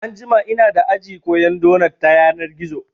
Anjima inada aji koyan donot ta yanar gizo